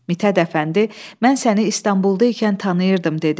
Mit Hədəfəndi, mən səni İstanbulda ikən tanıyırdım dedi.